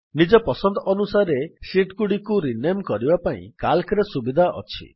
ନିଜ ପସନ୍ଦ ଅନୁସାରେ ଶୀଟ୍ ଗୁଡିକୁ ରିନେମ୍ କରିବା ପାଇଁ CALCରେ ସୁବିଧା ଅଛି